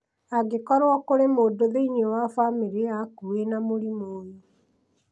angĩkorwo kũrĩ mũndũ thĩinĩ wa bamĩrĩ yaku wĩna mũrimũ ũyũ